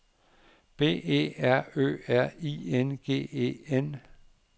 B E R Ø R I N G E N